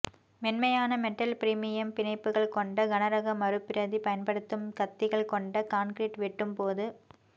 மென்மையான metal premium பிணைப்புகள் கொண்ட கனரக மறுபிரதி பயன்படுத்தும் கத்திகள் கொண்ட கான்கிரீட் வெட்டும் போது